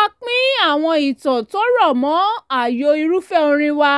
a pín àwọn ìtàn tó rọ̀ mọ́ ààyò irúfẹ́ orin wa